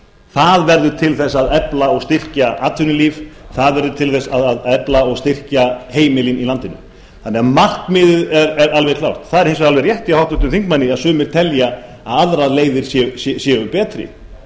það verður til þess að efla og styrkja atvinnulíf það verður til þess að efla og styrkja heimilin í landinu þannig að markmiðið er alveg klárt það er hins vegar alveg klárt hjá háttvirtum þingmanni að sumir telja að aðrar leiðir séu betri og